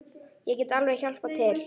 Ég get alveg hjálpað til.